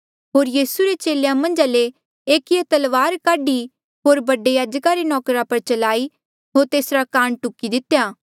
होर यीसू रे चेलेया मन्झा ले एकिये तलवार काढी होर बडे याजका रे नौकरा पर चलाई होर तेसरा कान टुकी दितेया